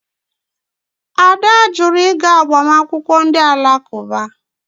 Ada jụrụ ịga agbamakwụkwọ ndị Alakụba.